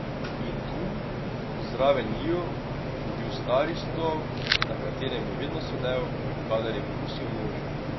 In tu, zraven njiju, je bil stari stol, na katerem je vedno sedel, kadar je brusil nože.